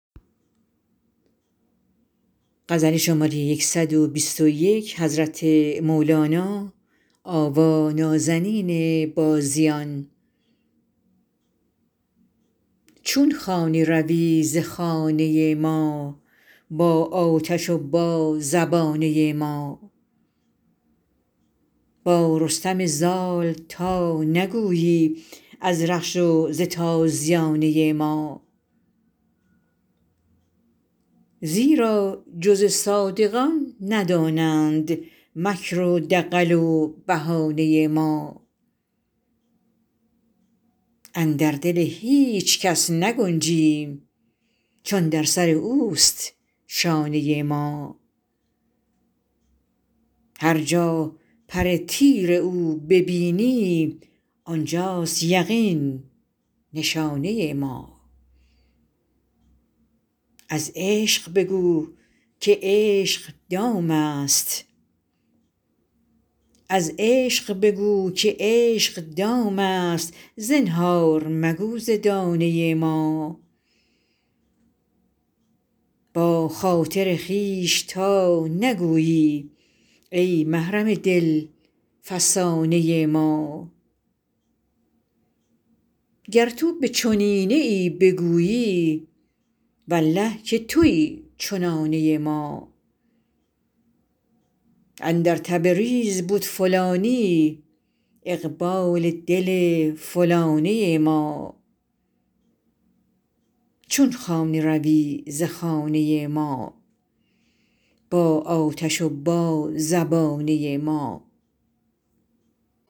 چون خانه روی ز خانه ما با آتش و با زبانه ما با رستم زال تا نگویی از رخش و ز تازیانه ما زیرا جز صادقان ندانند مکر و دغل و بهانه ما اندر دل هیچ کس نگنجیم چون در سر اوست شانه ما هر جا پر تیر او ببینی آن جاست یقین نشانه ما از عشق بگو که عشق دامست زنهار مگو ز دانه ما با خاطر خویش تا نگویی ای محرم دل فسانه ما گر تو به چنینه ای بگویی والله که توی چنانه ما اندر تبریز بد فلانی اقبال دل فلانه ما